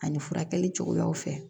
Ani furakɛli cogoyaw fɛ